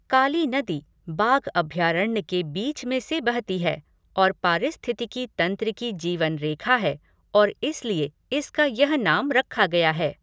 काली नदी बाघ अभयारण्य के बीच में से बहती है और पारिस्थितिकी तंत्र की जीवन रेखा है और इसलिए इसका यह नाम रखा गया है।